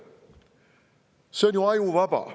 See on ju ajuvaba!